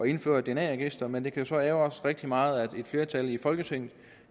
indføre et dna register men det kan jo så ærgre os rigtig meget at et flertal i folketinget